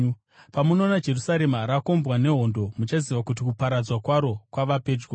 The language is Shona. “Pamunoona Jerusarema rakombwa nehondo, muchaziva kuti kuparadzwa kwaro kwava pedyo.